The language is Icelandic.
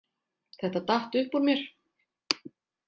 Þetta datt upp úr mér